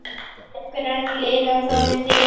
Eru einhver önnur lið ennþá inni í myndinni?